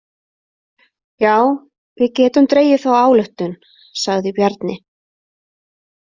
Já, við getum dregið þá ályktun, sagði Bjarni.